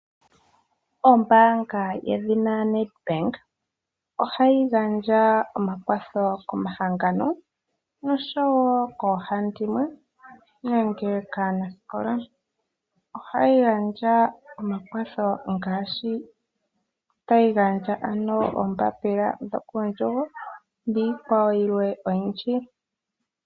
Ombaanga yedhina NED BANK ohayi gandja omakwatho komahangano noshowo koohandimwe noshowo kaanasikola. Ohayi gandja omakwatho ngaashi tayi gandja ano oombapila dhokuundjugo niikwa wo yilwe oyindji.